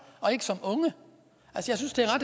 og ikke som unge jeg synes det